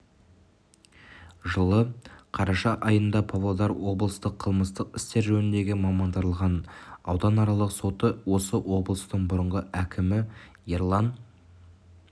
жылы қараша айында павлодар облыстық қылмыстық істер жөніндегі мамандандырылған ауданаралық соты осы облыстың бұрынғы әкімі ерлан